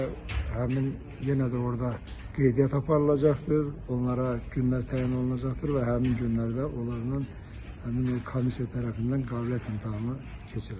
Və həmin yenə də orda qeydiyyat aparılacaqdır, onlara günlər təyin olunacaqdır və həmin günlərdə onların həmin o komissiya tərəfindən qabiliyyət imtahanı keçiriləcək.